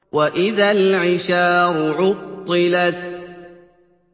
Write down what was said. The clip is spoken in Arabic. وَإِذَا الْعِشَارُ عُطِّلَتْ